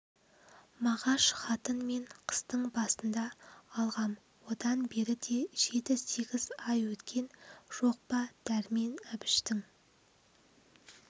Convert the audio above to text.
мағаш хатын мен қыстың басында алғам одан бері де жеті-сегіз ай өткен жоқ па дәрмен әбіштің